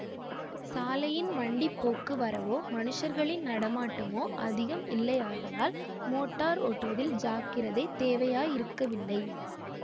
சாலையின் வண்டி போக்கு வரவோ மனுஷர்களின் நடமாட்டமோ அதிகம் இல்லையாதலால் மோட்டார் ஓட்டுவதில் ஜாக்கிரதை தேவையாயிருக்கவில்லை